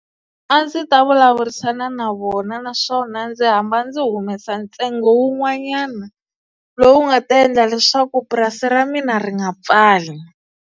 A ndzi ta vulavurisana na vona naswona ndzi hamba ndzi humesa ntsengo wun'wanyana lowu nga ta endla leswaku purasi ra mina ri nga pfali.